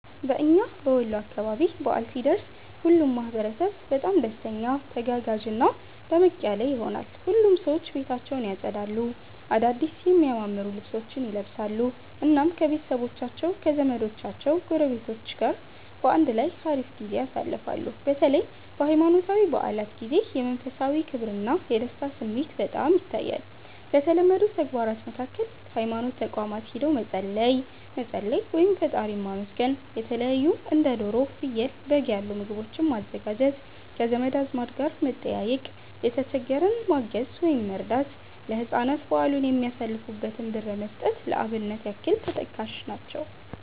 በእና በወሎ አካባቢ በዓል ሲደርስ ሁሉም ማህበረሰብ በጣም ደስተኛ፣ ተጋጋዥና ደመቅ ያለ ይሆናል። ሁሉም ሰዎች ቤታቸውን ያፀዳሉ፣ አዳድስ የሚያማምሩ ልብሶችን ይለብሳሉ፣ እናም ከቤተሰቦቻቸው ከዘመዶቻቸው ጎረቤቶች ጋር በአንድ ላይ ሀሪፍ ጊዜ ያሳልፋሉ። በተለይ በሃይማኖታዊ በዓላት ጊዜ የመንፈሳዊ ክብርና የደስታ ስሜት በጣም ይታያል። ከተለመዱ ተግባራት መካከል ሀይማኖት ተቋማት ሂዶ መፀለይ፣ መፀለይ (ፈጣሪን ማመስገን)፣የተለታዩ እንደ ዶሮ፣ ፍየል፣ በግ ያሉ ምግቦችን ማዘጋጀት፣ ከዘመድ አዝማድ ጋር መጠያየቅ፣ የተሸገረን ማገዝ(መርዳት)፣ ለህፃናት በዓሉን የሚያሳልፉበትን ብር መስጠት ለአብነት ያክል ተጠቃሽ ናቸው።